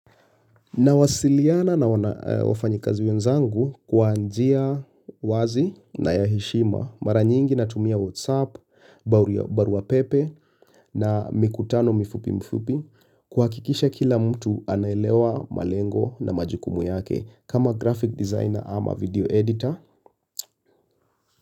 Nawasiliana na wafanyikazi wenzangu kwaanjia wazi na ya heshima mara nyingi na tumia whatsapp, baruapepe na mikutano mfupi mfupi kuhakikisha kila mtu anaelewa malengo na majukumu yake kama graphic designer ama video editor.